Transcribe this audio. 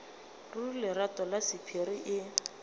ruri lerato la sephiri e